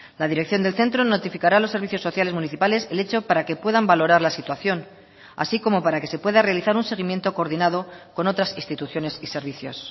la dirección del centro notificará a los servicios sociales municipales el hecho para que puedan valorar la situación así como para que se pueda realizar un seguimiento coordinado con otras instituciones y servicios